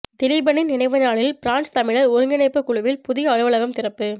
திலீபனின் நினைவு நாளில் பிரான்ஸ் தமிழர் ஒருங்கிணைப்பு குழுவில் புதிய அலுவலகம் திறப்பு